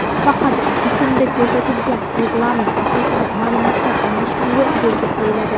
Faqat bitimda ko‘rsatilgan reglament asosida ma’lumotlar almashinuvi yo‘lga qo‘yiladi.